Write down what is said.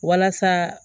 Walasa